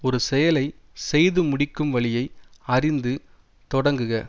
ஒரு செயலை செய்து முடிக்கும் வழியை அறிந்து தொடங்குக